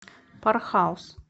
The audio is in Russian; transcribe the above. пар хаус